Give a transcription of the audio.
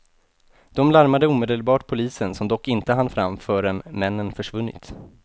De larmade omedelbart polisen som dock inte hann fram förrän männen försvunnit.